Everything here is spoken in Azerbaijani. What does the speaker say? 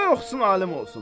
Qoy oxusun alim olsun.